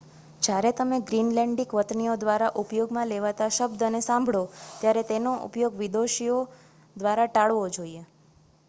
જ્યારે તમે ગ્રીનલેન્ડીક વતનીઓ દ્વારા ઉપયોગમાં લેવાતા શબ્દને સાંભળો ત્યારે તેનો ઉપયોગ વિદેશીઓ દ્વારા ટાળવો જોઈએ